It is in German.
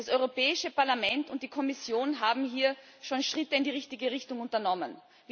Das Europäische Parlament und die Kommission haben hier schon Schritte in die richtige Richtung unternommen.